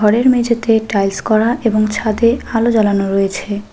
ঘরের মেঝেতে টাইলস করা এবং ছাদে আলো জ্বালানো রয়েছে।